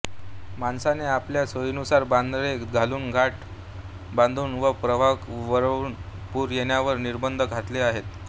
माणसाने आपल्या सोयीनुसार बंधारे घालून काठ बांधून व प्रवाह वळवून पूर येण्यावर निर्बंध घातले आहेत